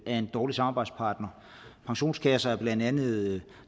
er en dårlig samarbejdspartner pensionskasser er blandt andet